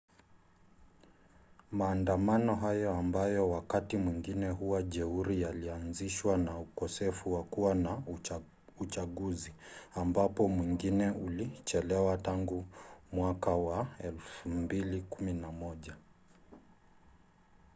maandamano hayo ambayo wakati mwingine huwa jeuri yalianzishwa na ukosefu wa kuwa na uchaguzi ambapo mwingine ulichelewa tangu 2011